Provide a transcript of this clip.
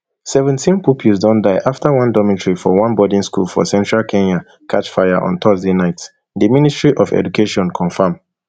seventeen pupils don die afta one dormitory for one boarding school for central kenya catch fire on thursday night di ministry of education confam